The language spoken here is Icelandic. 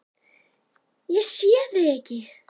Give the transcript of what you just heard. Ég sé þig ekki.